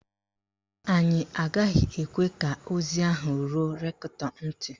Anyị agaghị ekwe ka ozi ahụ ruo rektọ ntị.